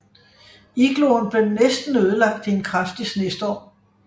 Igloen blev næsten ødelagt i en kraftig snestorm